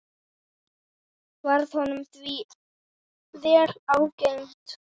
Varð honum því vel ágengt.